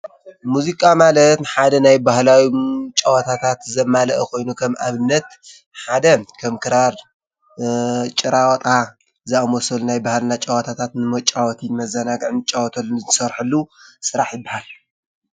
ሙዚቃ ማለት ሓደ ናይ ባህላዊ ጨዋታታት ዘመልአ ኮይኑ ከም ኣብነት ሓደ ከም ክራር፣ ጭራወጣ ዝኣመሰሉ ናይ ባህልና ጨዋታታት ንመጫወትን መዘናግዕን ንጫወተሉን ንዝሰርሑሉ ስራሕ ይበሃል።